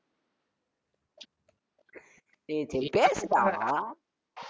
சேரி சேரி பேசுடா